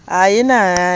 a sa lofe a ka